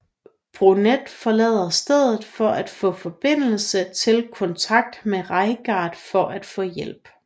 Burnett forlader stedet for at få forbindelse til kontakt med Reigart for at få hjælp